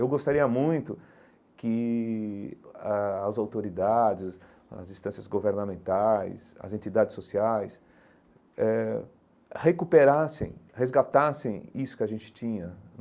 Eu gostaria muito que a as autoridades, as instâncias governamentais, as entidades sociais eh recuperassem, resgatassem isso que a gente tinha.